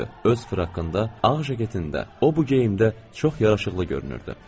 Öz frakında, ağ jaketində o bu geyimdə çox yaraşıqlı görünürdü.